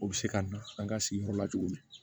O bɛ se ka na an ka sigiyɔrɔ la cogo min